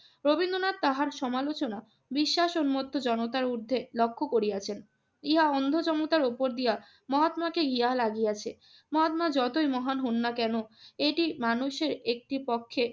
রবীন্দ্রনাথ তাহার সমালোচনা বিশ্বাস উন্মুক্ত জনতার ঊর্ধ্বে লক্ষ্য করিয়াছেন। ইহা অন্ধ জনতার উপর দিয়া মহাত্মাকে গিয়া লাগিয়াছে। মহাত্মা যতই মহান হউন না কেন এটি মানুষের একটি পক্ষে